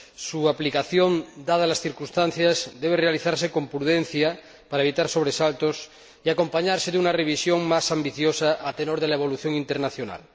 Su aplicación, dadas las circunstancias, debe realizarse con prudencia, para evitar sobresaltos, y acompañarse de una revisión más ambiciosa, a tenor de la evolución internacional.